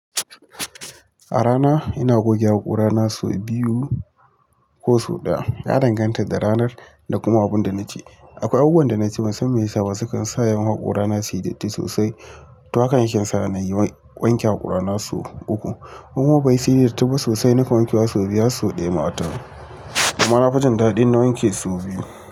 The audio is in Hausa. A rana ina goge haƙora na sau biyu ko sau ɗaya. Ya danganta da ranar da kuma abin da naci. Akwai abubuwan da naci musamman mai shaƙa sukan sa yawan haƙora na siji titi sosai. To haka yake sa na yi wanke haƙora na sau uku. Kuma basunyi datti ba sosai, na kan wanke wa sai biyu har sau daya wata ran amma nafi jin dadi inna wanke su.